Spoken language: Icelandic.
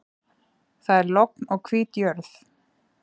Það er logn og hvít jörð.